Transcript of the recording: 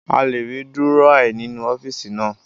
A lè rí Dúrọ́à nínú ọ́fíìsì naa